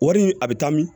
Wari in a bɛ taa min